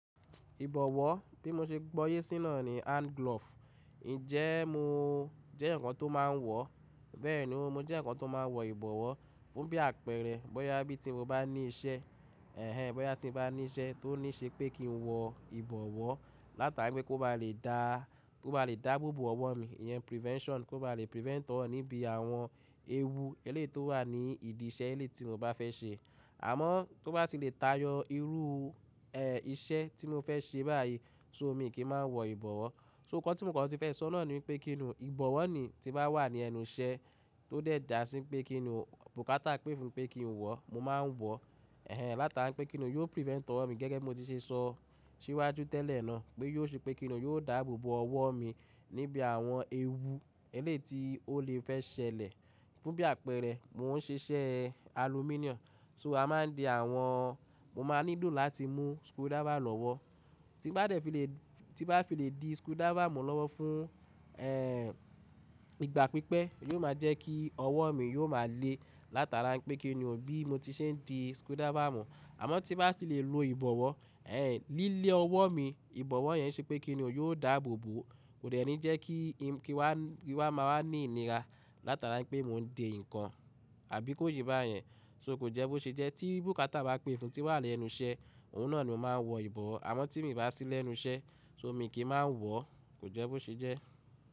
Ìbọ̀wọ́ tí mo ṣe gbọ́yé síná ni hand glove. Ǹjẹ́ mo jẹ́ èyàn kán tó máa ń wọ̀, bẹ́ẹ̀ni mo jẹ́ èyàn kán tó máa ń wọ ìbọ̀wọ́ fún bí àpẹẹrẹ bóyá bí tí mo bá ní iṣẹ́, ẹ̀hen bóyá tí mo bá ní iṣẹ́ tó níí ṣe pé kí n wọ ìbọ̀wọ́ látara pé kó ba lè dá, kó ba lè dáàbò bò ọwọ́ mi, ìyẹn prevention, kó ba lè prevent ọwọ́ níbi àwọn ewu eléèto wà ní ìdí iṣẹ́ eléyi tí mo bá fẹ́ ṣe. Àmọ́ tó bá ti lè tayọ irú, iṣẹ́ tí mo fẹ́ ṣe báyìí, so mí kì í máa ń wọ ìbọ̀wọ́. So nkán tí mo kàn ti fẹ́ sọ náà ni pé kí ni ìbọ̀wọ́ ni tí bá wà ní ẹnu iṣẹ́ tó dẹ̀ dà sí pé kí ni bùkátà pè fún pé kí n wọ̀, mo máa ń wọ̀, ẹ̀hen látara pé kí ni yó prevent ọ́ mi gẹ́gẹ́ mo ti ṣe sọ síwájú tẹ́lẹ̀ náà pé yó ṣe pé kí ni yóò dáàbò bò ọwọ́ mi níbi àwọn ewu èléyìí tí ó lè fẹ́ ṣẹlẹ̀. Fún bí àpẹẹrẹ, mò ń ṣe iṣẹ́ alumíníọ́ọ̀mù, so a máa ń di àwọn Mo máa nílò láti mú skrudáfà lọ́wọ́. Tí bá lè fi lè, tí bá fi lè di skrudáfà mú lọ́wọ́ fún, ìgbà pípẹ́, ó yóò máa jẹ́ kí ọwọ́ mi yóò máa le látara pé kí ni ò bí mo ti ṣe ń di skrudáfà mú. Àmọ́ tí bá ti lè lo ìbọ̀wọ́, lílé ọwọ́ mi ìbọ̀wọ́ yẹn ṣe pé kí ni yóò dààbò bò. Kò dẹ̀ ni jẹ́ kí, kí wá, kí wá máa wà ní ìnira látara pé mò ń de nǹkan àbí kó ye báyẹn. So kò jẹ́ bó ṣe jẹ́ tí bùkátà bá pè fún tí wà lẹ́nu iṣẹ́, òun náà ni mo máa ń wọ ìbọ̀wọ́. Àmọ́ tí mi bá sí lẹ́nu iṣẹ́, so mí kì í máa ń wọ̀, kò jẹ́ bó ṣe jẹ́.